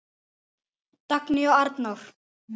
Dagný og Arnór